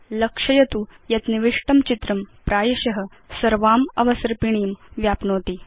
लक्षयतु यत् निविष्टं चित्रं प्रायश सर्वाम् अवसर्पिणीं व्याप्नोति